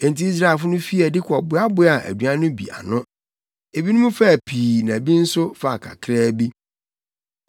Enti Israelfo no fii adi kɔboaboaa aduan no bi ano. Ebinom faa pii na bi nso faa kakraa bi.